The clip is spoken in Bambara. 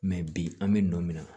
bi an bɛ nɔ minɛ